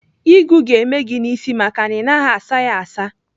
Ịgụ ga-eme gị n'isi maka na ị naghị asa ya asa.